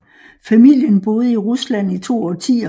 Familien boede i Rusland i to årtier